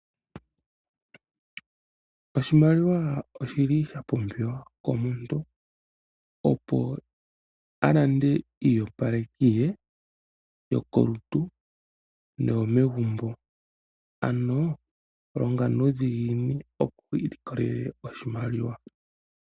Oshimaliwa oshi li sha pumbiwa komuntu opo a lande iiyopaleki ye yokolutu naambyoka yomegumbo. Ano, longa nuudhiginini opo wu ilikolele oshimaliwa.